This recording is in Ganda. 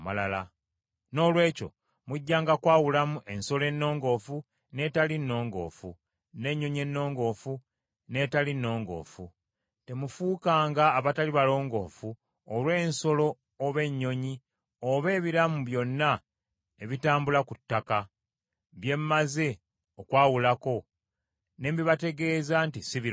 “ ‘Noolwekyo mujjanga kwawulamu ensolo ennongoofu n’etali nnongoofu, n’ennyonyi ennongoofu n’etali nnongoofu. Temufuukanga abatali balongoofu olw’ensolo oba ennyonyi, oba ebiramu byonna ebitambula ku ttaka, bye mmaze okwawulako ne mbibategeeza nti si birongoofu.